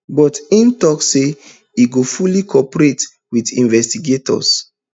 but im tok say e go fully cooperate wit investigators